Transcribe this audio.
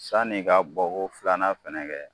San'i ka bɔ ko filanan fɛnɛ kɛ